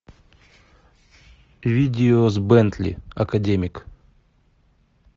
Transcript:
видео с бентли академик